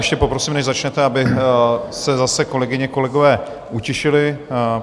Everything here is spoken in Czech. Ještě poprosím, než začnete, aby se zase kolegyně, kolegové utišili.